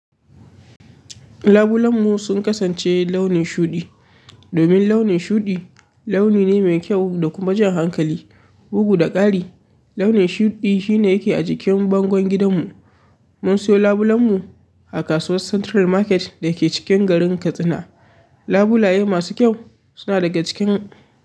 Labulen mu sun kasance launi shuɗi, domin launi shuɗi launi ne mai kyau da kuma jan hankali, bugu da ƙari. Launi shuɗi shine yake a jikin bangon gidan mu. Mun siyo labulen mu a kasuwar Central Market da ke cikin garin Katsina. Labulaye masu kyau suna daga cikin.